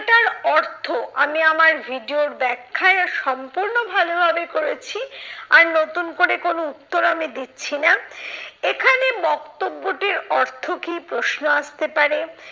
অর্থ আমি আমার video র ব্যাখ্যায় ও সম্পূর্ণ ভালোভাবে করেছি, আর নতুন করে কোনো উত্তর আমি দিচ্ছি না। এখানে বক্তব্যটির অর্থ কি প্রশ্ন আসতে পারে।